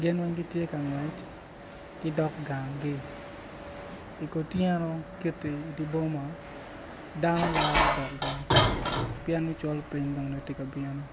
gin weng giti ka ngwec gidok gangi I kutyeno kiti idi boma dano laro dok gang pien ni col piny nongo dong ti ka bino